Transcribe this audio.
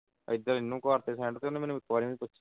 ਇੱਧਰ ਇਹਨੂੰ ਕਰਤੇ send ਮੈਨੂੰ ਇਕ ਵਾਰ ਵੀ ਨਹੀਂ